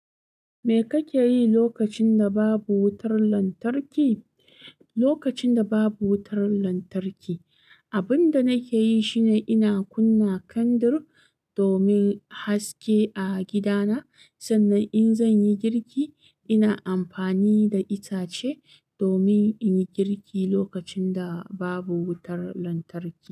Me kake yi lokacin da babu wutar lantarki? Lokacin da babu wutar lantarki, abin da nake yi shine ina kunna kandir domin haske a gidana. Sannan in zan yi girki, ina amfani da itace domin in yi girki lokacin da babu wutar lantarki.